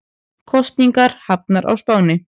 Kosningar hafnar á Spáni